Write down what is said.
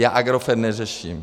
Já Agrofert neřeším.